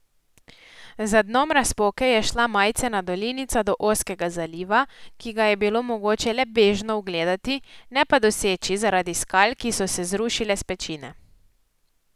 Za dnom razpoke je šla majcena dolinica do ozkega zaliva, ki ga je bilo mogoče le bežno ugledati, ne pa doseči zaradi skal, ki so se zrušile s pečine.